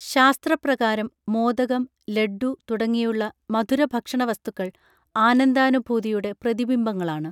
ശാസ്ത്രപ്രകാരം മോദകം ലഡ്ഢു തുടങ്ങിയുള്ള മധുരഭക്ഷണവസ്തുക്കൾ ആനന്ദാനുഭൂതിയുടെ പ്രതിബിംബങ്ങളാണ്